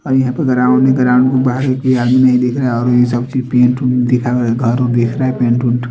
अभी यहाँ पे ग्राउंड है ग्राउंड के बहार एक आदमी दिख रहा है और वो सबके पेंटू दिखा रहा है घर देख रहा है पेंटू तू--